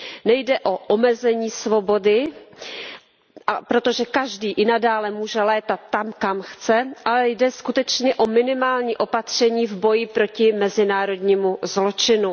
Nejde o omezení svobody, protože každý i nadále může létat tam, kam chce, ale jde skutečně o minimální opatření v boji proti mezinárodnímu zločinu.